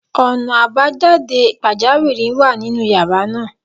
Ọ̀nà àbájáde pàjáwìrì wà nínú yàrá náà.